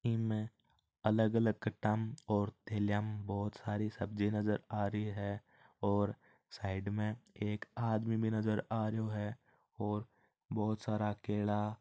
इमे अलग-अलग कटा में और थेलिया में बहुत सारी सब्जी नजर आ रही है और साईड में एक आदमी भी नज़र आ रहो है और बहुत सारा केला --